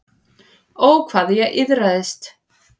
Ó, hvað ég iðraðist.